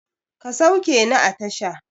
Ka sauke ni a tasha!